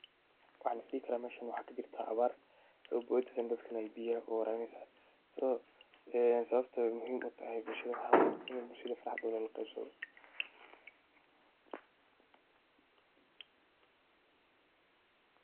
Maxaa lisdhi karah meshan waxaa kajeertah awaar soo booyatan meshan beeya warabineysah sawabtoo eh waxawaye ini bulshada farxaada lala qeebsathoh.